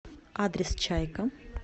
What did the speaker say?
адрес чайка